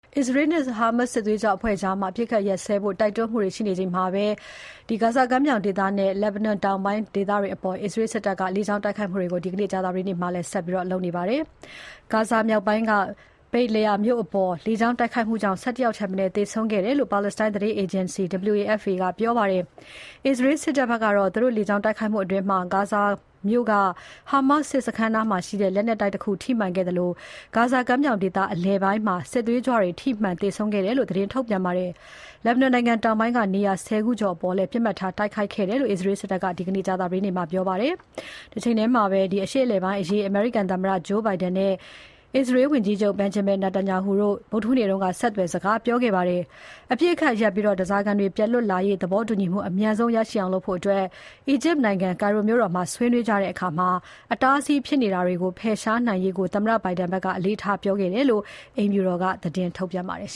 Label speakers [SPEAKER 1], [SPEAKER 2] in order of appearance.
[SPEAKER 1] အစ္စရေးနဲ့ Hamas စစ်သွေးကြွအဖွဲ့ကြား အပစ်အခတ်ရပ်ရေး တိုက်တွန်းမှုတွေရှိနေချိန်မှာပဲ အစ္စရေးစစ်တပ်က ဂါဇာကမ်းမြောင်ဒေသနဲ့ လက်ဘနွန်တောင်ပိုင်းအပေါ် လေကြောင်းတိုက်ခိုက်မှုတွေ ဒီနေ့ ကြာသပတေးနေ့မှာ လုပ်ခဲ့ပါတယ်။ ဂါဇာမြောက်ပိုင်းက Beit Lahiya မြို့အပေါ် လေကြောင်းတိုက်ခိုက်မှုကြောင့် ၁၁ ယောက်ထက်မနည်း သေဆုံးတယ်လို့ ပါလက်စတိုင်း သတင်းအေဂျင်စီ WAFA ကပြောပါတယ်။ အစ္စရေးစစ်တပ်ဘက်ကတော့ သူတို့လေကြောင်းတိုက်ခိုက်မှုအတွင်း ဂါဇာမြို့က Hamas စစ်စခန်းနားမှာရှိတဲ့ လက်နက်တိုက်တခု ထိမှန်ခဲ့သလို ဂါဇာကမ်းမြောင်ဒေသ အလယ်ပိုင်းမှာ စစ်သွေးကြွတွေ ထိမှန်သေဆုံးခဲ့တယ်လို့ သတင်းထုတ်ပြန်ပါတယ်။ လက်ဘနွန်နိုင်ငံ တောင်ပိုင်းက နေရာ ၁၀ ခုကျော်အပေါ်လည်း ပစ်မှတ်ထားတိုက်ခိုက်ခဲ့တယ်လို့ အစ္စရေးစစ်တပ်က ဒီနေ့ ကြာသပတေးနေ့မှာ ပြောပါတယ်။ Hezbollah စစ်သွေးကြွအဖွဲ့တွေရဲ့ နေရာတွေအပေါ် တိုက်ခိုက်တာဖြစ်တယ်လို့ ဆိုပါတယ်။ အရှေ့အလယ်ပိုင်းအရေး အမေရိကန်သမ္မတ Joe Biden နဲ့ အစ္စရေးဝန်ကြီးချုပ် Benjamin Netanyahu တို့ ဗုဒ္ဓဟူးနေ့က ဆက်သွယ်စကားပြောခဲ့ကြပါတယ်။ အပစ်အခတ်ရပ်ပြီး ဓားစာခံတွေပြန်လွတ်လာရေး သဘောတူညီမှု အမြန်ဆုံးရအောင်လုပ်ဖို့နဲ့ အီဂျစ်နိုင်ငံ ကိုင်ရိုမြို့တော်မှာ ဆွေးနွေးကြတဲ့အခါ အတားအဆီးဖြစ်နိုင်တာတွေကို ဖယ်ရှားနိုင်ရေးကို သမ္မတ Biden ဘက်ကအလေးထားပြောခဲ့တယ်လို့ အိမ်ဖြူတော်က ထုတ်ပြ
[SPEAKER 2] န်ပါတယ်